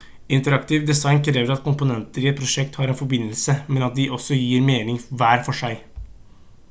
interaktivt design krever at komponenter i et prosjekt har en forbindelse men at de også gir mening hver for seg